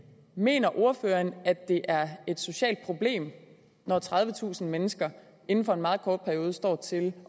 mener ordføreren at det er et socialt problem når tredivetusind mennesker inden for en meget kort periode står til